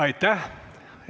Aitäh!